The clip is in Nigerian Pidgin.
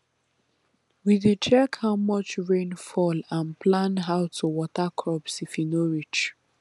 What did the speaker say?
we dey check how much rain fall and plan how to water crops if e no reach